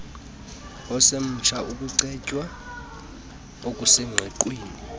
osemtsha ukucetywa okusengqiqweni